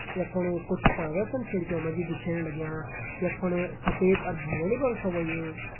यख फणु कुछ पर्दा छन खिड़कियों मा जी दिखेण लग्यां यख फण सफ़ेद अर भूरेणू रंग छ होयुं।